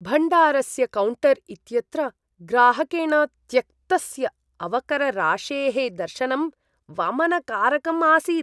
भण्डारस्य कौण्टर् इत्यत्र ग्राहकेण त्यक्तस्य अवकरराशेः दर्शनं वमनकारकम् आसीत्।